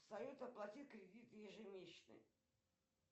салют оплатить кредит ежемесячный